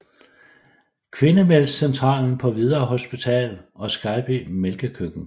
Kvindemælkscentralen på Hvidovre Hospital og Skejby Mælkekøkken